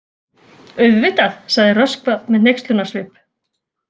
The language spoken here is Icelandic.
Auðvitað, sagði Röskva með hneykslunarsvip.